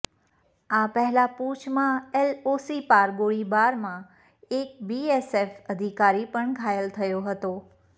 આ પહેલાં પૂંછમાં એલઓસી પાર ગોળીબારમાં એક બીએસએફ અધિકારી પણ ઘાયલ થયો હતો